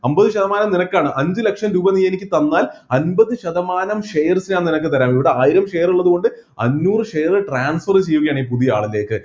അമ്പത് ശതമാനം നിനക്കാണ് അഞ്ച് ലക്ഷം രൂപ നീ എനിക്ക് തന്നാൽ അമ്പത് ശതമാനം share ഞാൻ നിനക്ക് തരാം ഇവിടെ ആയിരം share ഉള്ളത് കൊണ്ട് അന്നൂർ share transfer ചെയ്യുകയാണ് പുതിയ ആളിലേക്ക്